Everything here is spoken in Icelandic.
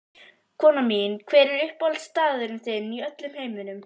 Konan mín Hver er uppáhaldsstaðurinn þinn í öllum heiminum?